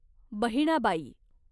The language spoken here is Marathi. बहिणाबाई